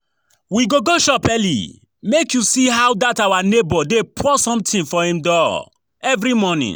We go go shop early make you see how dat our neighbour dey pour something for im door every morning